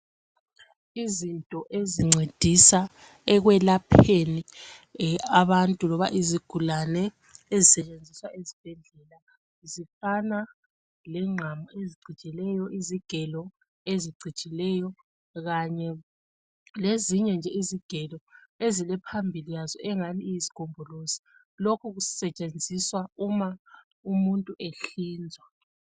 izinto ezincedisa ekwelapheni abantu loba izigulane ezisetshenziswa ezibhedlela zifana lengqamu eziijileyo lezigelo ezicijileyo kanye lezinye nje izigelo ezilephambili yazo engani yizigombolozi lokhu kusetshenziswa uma umuntu ehlinzwa